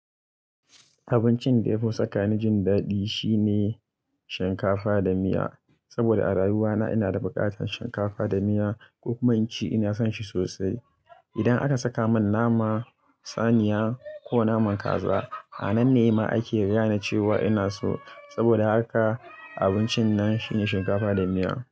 Abincin da ya fi saka ni jin daɗi shine shinkafa da miya, saboda a rayuwana ina da buƙatar shinkafa da miya, ko kuma inci ina son shi sosai. Idan aka saka mun naman saniya ko naman kaza, a nan ne ma ake gane cewa ina so, saboda haka abincin nan shine shinkafa da miya.